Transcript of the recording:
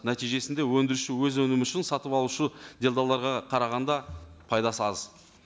нәтижесінде өндіруші өз өнімі үшін сатып алушы делдалдарға қарағанда пайдасы аз